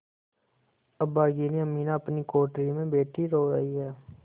अभागिनी अमीना अपनी कोठरी में बैठी रो रही है